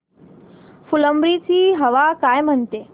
फुलंब्री ची हवा काय म्हणते